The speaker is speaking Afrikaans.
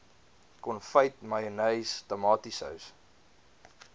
konfyt mayonnaise tomatiesous